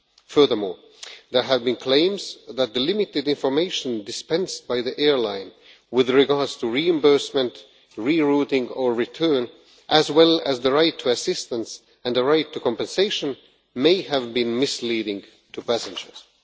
Furthermore, there have been claims that the limited information dispensed by the airline with regard to reimbursement, re-routing or return, as well as the right to assistance and the right to compensation, may have been misleading to passengers.